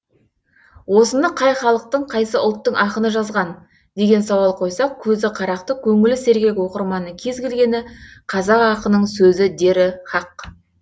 осыны қай халықтың қайсы ұлттың ақыны жазған деген сауал қойсақ көзі қарақты көңіл сергек оқырманның кез келгені қазақ ақынының сөзі дері хақ